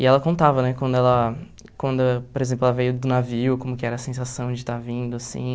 E ela contava, né, quando ela, quando, por exemplo, ela veio do navio, como que era a sensação de estar vindo, assim...